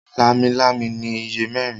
Lámilámi ní ìyè mérin.